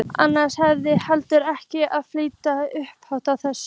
Annars værirðu heldur ekki að fitja upp á þessu.